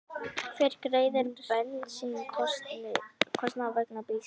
Hver greiðir bensínkostnað vegna bílsins?